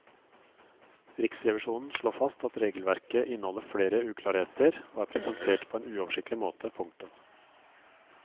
Riksrevisjonen slår fast at regelverket inneholder flere uklarheter og er presentert på en uoversiktlig måte. punktum